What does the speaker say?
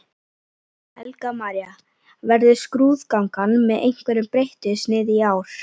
Helga María: Verður skrúðgangan með einhverju breyttu sniði í ár?